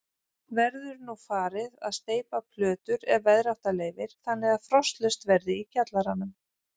Verður nú farið að steypa plötur ef veðrátta leyfir þannig að frostlaust verði í kjallaranum.